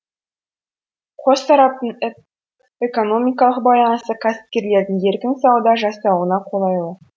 қос тараптың экономикалық байланысы кәсіпкерлердің еркін сауда жасауына қолайлы